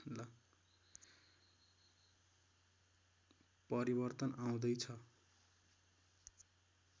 परिवर्तन आउँदै छ